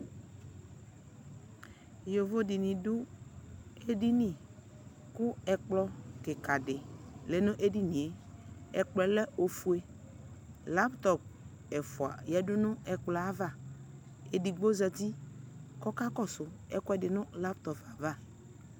yovo dini du edini ku ɛklɔ kika di lɛ nu edinie ɛkplɔɛ lɛ ofue laptɔp ɛfua ya nu ɛklɔɛ ava edigbo zati ku ɔka kɔsu ɛkuɛdi nu laptɔp ava